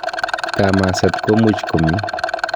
Kamaset komuch komi.